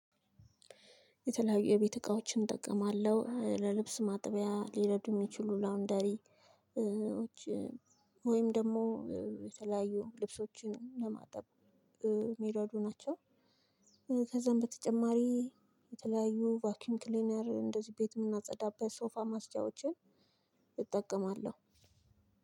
የተለያዩ የቤት እቃዎችን እጠቀማለሁ ለልብስ ማጠቢያ ሊረዱ የሚችሉ ላውንደሪዎች ወይም ደግሞ የተለያዩ ልብሶችን ለማጠብ ሚረዱ ናቸው። ከዛም በተጨማሪ የተለያዩ ቫክዩም ክሊነር እንደዚ ቤት የምናጸዳበት ሶፋ ማጽጃዎችን እጠቀማለሁ።